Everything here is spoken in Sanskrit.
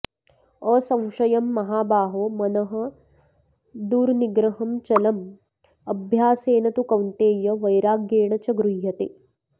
असंशयं महाबाहो मनः दुर्निग्रहं चलम् अभ्यासेन तु कौन्तेय वैराग्येण च गृह्यते